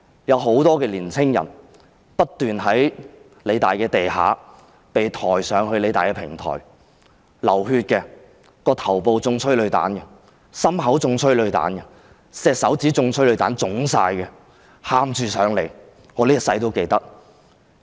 有很多年青人不斷從理大的地下被抬上平台，流血的、頭部或胸口中催淚彈的、手指被催淚彈擊中腫脹起來的，他們哭着來到平台，我一生也不會忘記。